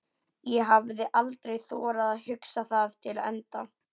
ég hafði aldrei þorað að hugsa það til enda.